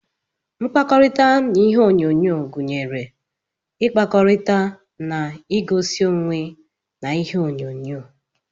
Mkpakọrita na ihe onyonyo gunyere ikpakọrita na egosi onwee na ihe onyo-nyo.